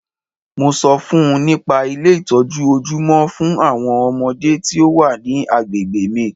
Mo ṣọ fún -un nípa Ilé ìtọ́jú ojúmọ́ fún àwọn ọmọdé tí o wa ní agbègbè mi.